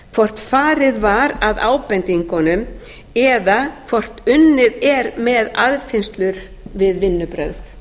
hvort farið var að ábendingunum eða hvort unnið er með aðfinnslur við vinnubrögð